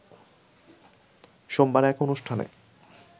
সোমবার এক অনুষ্ঠানে